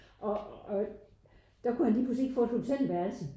Og og der kunne han lige pludselig ikke få et hotelværelse